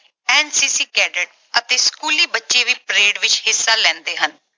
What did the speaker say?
NCC cadet ਅਤੇ ਸਕੂਲੀ ਬੱਚੇ ਵੀ parade ਵਿੱਚ ਹਿੱਸਾ ਲੈਂਦੇ ਹਨ।